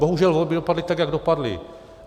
Bohužel, volby dopadly tak, jak dopadly.